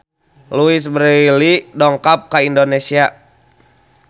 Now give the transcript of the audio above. Louise Brealey dongkap ka Indonesia